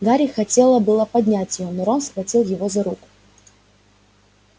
гарри хотело было поднять её но рон схватил его за руку